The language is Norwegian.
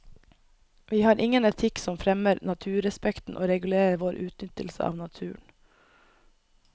Vi har ingen etikk som fremmer naturrespekten og regulerer vår utnyttelse av naturen.